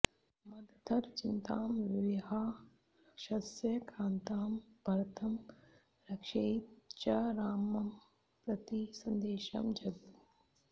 मदर्थं चिन्तां विहाय राक्षसैराक्रान्तं भरतं रक्षेति च रामं प्रति सन्देशं जगौ